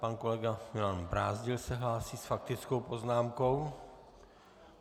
Pan kolega Milan Brázdil se hlásí s faktickou poznámkou.